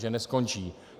Že neskončí.